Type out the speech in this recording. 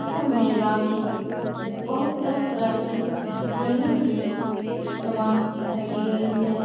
यह मेला में बहुत तरह-तरह के झूलने की सामान लगी गई है ।